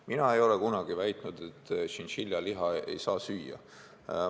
Mina ei ole kunagi väitnud, et tšintšiljaliha ei saa süüa.